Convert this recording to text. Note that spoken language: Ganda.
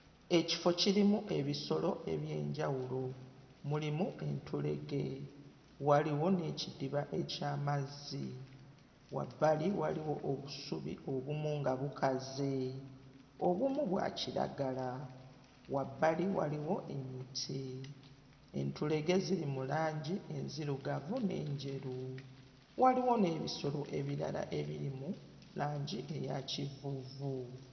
Ekifo kirimu ebisolo eby'enjawulo, mulimu entulege, waliwo n'ekidiba eky'amazzi. Wabbali waliwo obusubi obumu nga bukaze obumu bwa kiragala wabbali waliwo emiti. Entulege ziri mu langi enzirugavu n'enjeru waliwo n'ebisolo ebirala ebiri mu langi eya kivuuvu.